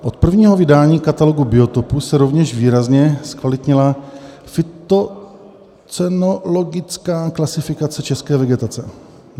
Od prvního vydání Katalogu biotopů se rovněž výrazně zkvalitnila fytocenologická klasifikace české vegetace.